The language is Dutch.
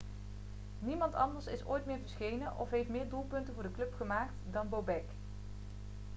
niemand anders is ooit meer verschenen of heeft meer doelpunten voor de club gemaakt dan bobek